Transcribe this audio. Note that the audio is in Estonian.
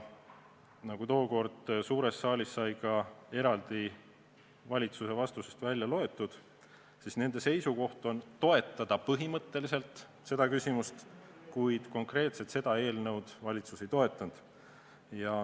Nagu tookord suures saalis sai valitsuse vastusest välja loetud, siis nende seisukoht on toetada seda küsimust põhimõtteliselt, kuid konkreetselt seda eelnõu valitsus ei toeta.